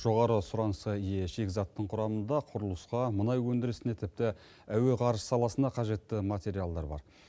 жоғары сұранысқа ие шикізаттың құрамында құрылысқа мұнай өндірісіне тіпті әуеғарыш саласына қажетті материалдар бар